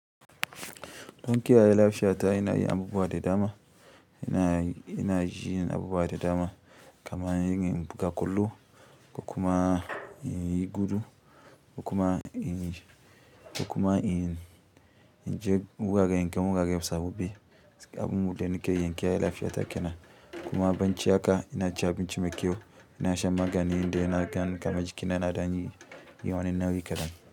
Dan ki yaye lafiya ta ina yin abubuwa da dama. Ina, ina jin abubuwa da dama kamar yin buga ƙwallo, ko kuma in yi gudu, ko kuma in yi ko kuma inyi inje gurare, in ga gurare sababbi abun da nake yi in kiyaye lafiyata ke nan. In abinci haka ina cin abinci mai kyau, yana shan magani indai nagan kaman jikina na da ɗan yi wani na wui kaɗan.